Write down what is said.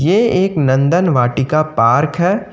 ये एक नंदन वाटिका पार्क है।